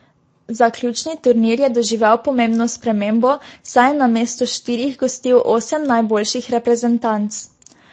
Zaključni turnir je doživel pomembno spremembo, saj je namesto štirih gostil osem najboljših reprezentanc.